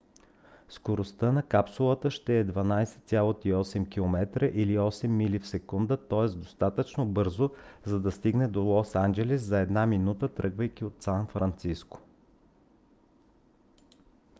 скоростта на капсулата ще е 12,8 км или 8 мили в секунда тоест достатъчно бързо за да стигне до лос анджелис за една минута тръгвайки от сан франциско